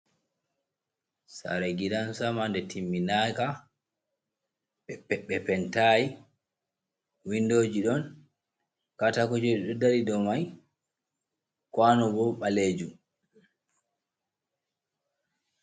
Sare gidansama nde timminaka ɓe pentai windoji ɗon kata kuje dodari do mai kwano bo balejum.